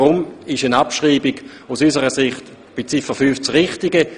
Deshalb ist eine Ab schreibung von Ziffer 5 aus unserer Sicht das Richtige.